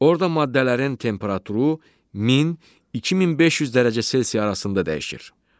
Orda maddələrin temperaturu 1000-2500 dərəcə Selsi arasında dəyişir.